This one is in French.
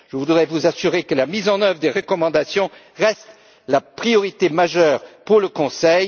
Je voudrais vous assurer que la mise en œuvre des recommandations reste la priorité majeure du Conseil.